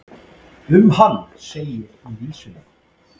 Um hann segir í vísunum.